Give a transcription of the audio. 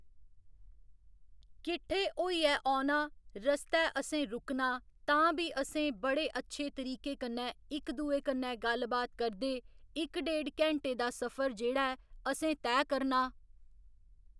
किट्ठे होइयै औना रस्तै असें रुकना तां बी असें बड़े अच्छे तरीके कन्नै इक दूए कन्नै गल्ल बात करदे इक डेढ़ घैण्टे दा सफर जेह्‌ड़ा ऐ असें तैऽ करना